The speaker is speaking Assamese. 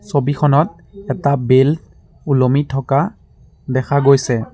ছবিখনত এটা বেল ওলমি থকা দেখা গৈছে।